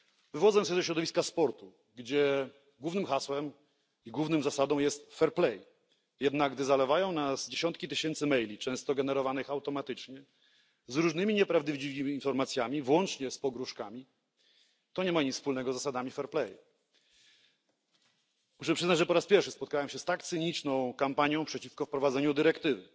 Wywodzę się ze środowiska sportu, gdzie głównym hasłem i główną zasadą jest fair play, jednak gdy zalewają nas dziesiątki tysięcy maili, często generowanych automatycznie, z różnymi nieprawdziwymi informacjami, włącznie z pogróżkami, to nie ma nic wspólnego z zasadami fair play. Muszę przyznać, że po raz pierwszy spotkałem się z tak cyniczną kampanią przeciwko wprowadzeniu dyrektywy.